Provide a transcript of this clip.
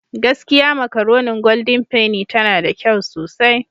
Gaskiya makaronin Golden penny tana da kyau sosai.